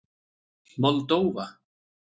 Moldóva